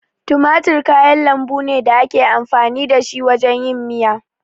Tumatir kayan lambu ne da ake amfani da shi wajen yin miya.